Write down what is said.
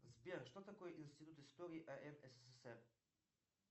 сбер что такое институт истории ан ссср